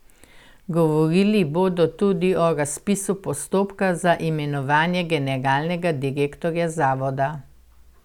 Govorili bodo tudi o razpisu postopka za imenovanje generalnega direktorja zavoda.